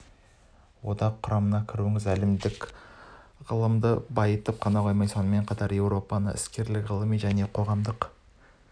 одақ құрамына кіруіңіз әлемдік ғылымды байытып қана қоймайды сонымен қатар еуропаның іскерлік ғылыми және қоғамдық